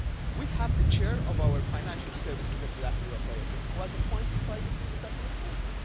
We have the Chair of our Financial Services Regulatory Authority, who was appointed by the previous administration.